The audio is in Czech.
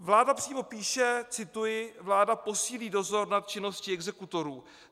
Vláda přímo píše - cituji: "Vláda posílí dozor nad činností exekutorů."